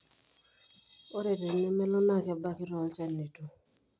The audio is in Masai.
ore tenemelo na kebaaki tolchanito